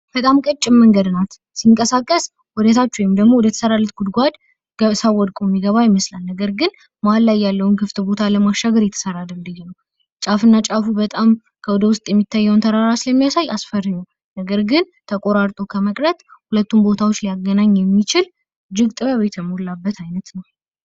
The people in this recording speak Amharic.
በጣም ቀጭን መንገድ ናት፤ ሲንቀሳቀስወደታች ወይም ደግሞ ወደተሠራላት ጉድጓድ ሰው ወድቆ የገባው ይመስላል። ነገር ግን መሀል ላይ ያለውን ክፍት ቦታ ለማሻሻል እየተሰራ ድልድይ ነው። ጫፍ እና ጫፉ በጣም ከወደ ውስጥ የሚታየውን ተራ ስለሚያሳይ አስፈሪ ነው፤ ነገር ግን ተቆራርጦ ከመቅረት ሁለቱን ቦታዎች ሊያገኝ የሚችል እጅግ ጥበብ የተሞላበት ዓይነት ነው።